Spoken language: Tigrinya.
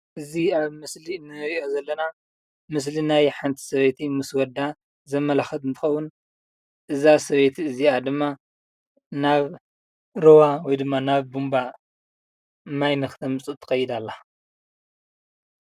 እዚ አብ ምስሊ እንሪኦ ዘለና ምስሊ ናይ ሓንቲ ሰበይቲ ምስ ወዳ ዘመላኽት እንትኸውን እዛ ሰበይቲ እዚአ ድማ ናብ ሩባ ወይ ድማ ናብ ቡንቧ ማይ ንኽተምፅእ ትኸይድ አላ።